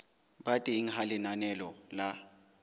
ba teng ha lenaneo la